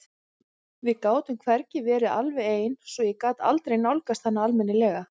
Við gátum hvergi verið alveg ein svo ég gat aldrei nálgast hana almennilega.